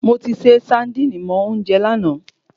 Moti se saandíìnì mọ oúnjẹ lana